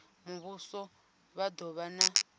muvhuso vha do vha na